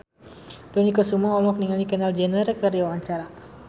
Dony Kesuma olohok ningali Kendall Jenner keur diwawancara